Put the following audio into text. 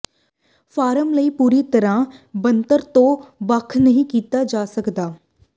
farm ਲਈ ਪੂਰੀ ਤਰ੍ਹਾਂ ਬਣਤਰ ਤੋਂ ਵੱਖ ਨਹੀਂ ਕੀਤਾ ਜਾ ਸਕਦਾ